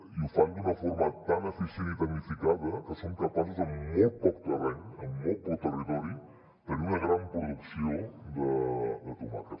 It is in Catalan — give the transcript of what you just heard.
i ho fan d’una forma tan eficient i tecnificada que són capaços amb molt poc terreny amb molt poc territori de tenir una gran producció de tomàquets